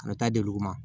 A bɛ taa di olu ma